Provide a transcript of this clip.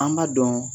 An b'a dɔn